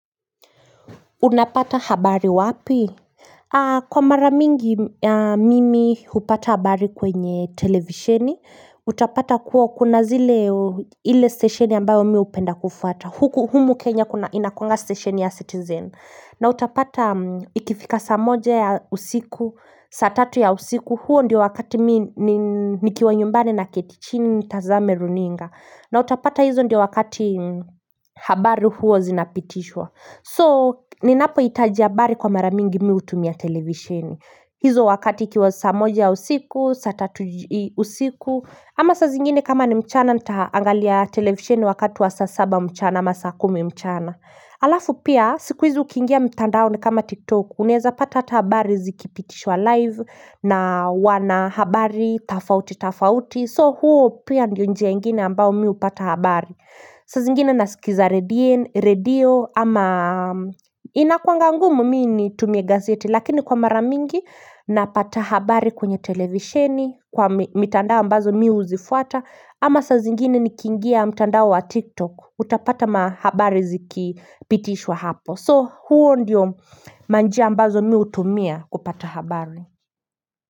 Unapata habari wapi? Kwa mara mingi mimi hupata habari kwenye televisheni. Utapata kuwa kuna zile, ile stesheni ambayo mi hupenda kufuata. Huku Kenya inakuwanga stesheni ya citizen. Na utapata ikifika saa moja ya usiku, saa tatu ya usiku. Huo ndio wakati mimi nikiwa nyumbani ninaketi chini nitazame runinga. Na utapata hizo ndio wakati habari huo zinapitishwa. So ninapohitaji habari kwa mara mingi mimi hutumia televisheni. Hizo wakati ikiwa saa moja usiku, saa tatu usiku ama saa zingine kama ni mchana nitaangalia televisheni wakati wa saa saba mchana ama saa kumi mchana Halafu pia siku hizi ukiingia mtandaoni kama tiktoku, unaeza pata hata habari zikipitishwa live na wanahabari tofauti tofauti. So huu pia ni njia ingine ambao mimi hupata habari saa zingine nasikiza redio ama inakuwanga ngumu mimi nitumie gazeti lakini kwa mara mingi napata habari kwenye televisheni, kwa mitandao ambazo mimi huzifuata ama saa zingine nikiingia mtandao wa tiktok utapata habari zikipitishwa hapo. So huo ndio manjia ambazo mimi hutumia kupata habari.